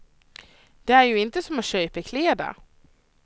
Det är ju inte som att köpa kläder.